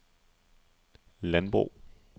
landbrug